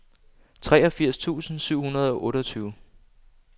treogfirs tusind syv hundrede og otteogtyve